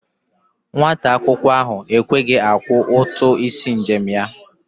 Nwata akwụkwọ ahụ ekweghi akwọ ụtụ isi njem ya.